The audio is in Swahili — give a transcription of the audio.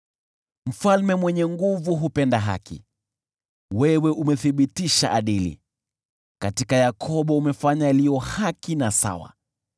Mfalme ni mwenye nguvu na hupenda haki, wewe umethibitisha adili; katika Yakobo umefanya yaliyo haki na sawa.